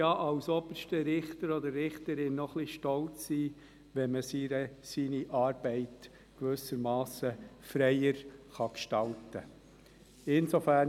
Man könnte als oberster Richter oder als oberste Richterin ja auch ein wenig stolz sein, wenn man seine Arbeit gewissermassen freier gestalten kann.